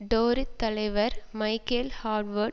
Tory தலைவர் Michael Howard